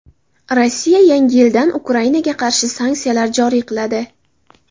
Rossiya yangi yildan Ukrainaga qarshi sanksiyalar joriy qiladi.